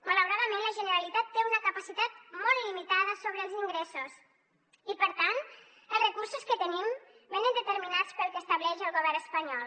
malauradament la generalitat té una capacitat molt limitada sobre els ingressos i per tant els recursos que tenim venen determinats pel que estableix el govern espanyol